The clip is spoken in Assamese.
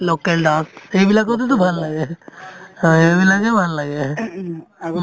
local dance সেইবিলাকতেতো ভাল লাগে অ এইবিলাকে ভাল লাগে ing